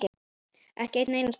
Ekki einn einasta dag.